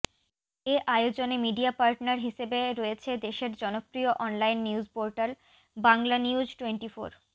এ আয়োজনে media partner হিসেবে রয়েছে দেশের জনপ্রিয় অনলাইন নিউজপোর্টাল বাংলানিউজটোয়েন্টিফোর